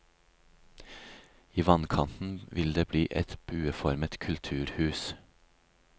I vannkanten vil det bli et bueformet kulturhus.